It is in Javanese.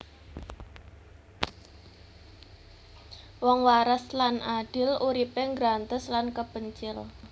Wong waras lan adil uripe nggrantes lan kepencil